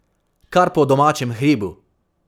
Kar po domačem hribu!